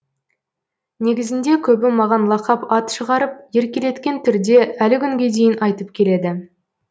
негізінде көбі маған лақап ат шығарып еркелеткен түрде әлі күнге дейін айтып келеді